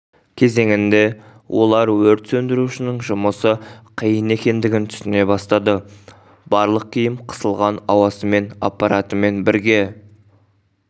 кезеңінде олар өрт сөндірушінің жұмысы қиын екендігін түсіне бастады барлық киім қысылған ауасымен аппаратымен бірге